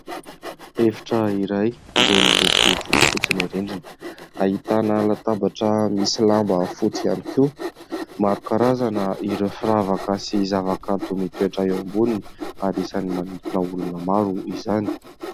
Efitra iray izay miloko fotsifotsy ny rindriny, ahitana latabatra misy lamba fotsy ihany koa. Maro karazana ireo firavaka sy zavakanto mitoetra eo amboniny ary isany manintona olona maro izany.